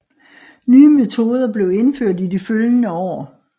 Nye metoder blev indført i de følgende år